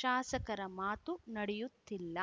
ಶಾಸಕರ ಮಾತು ನಡೆಯುತ್ತಿಲ್ಲ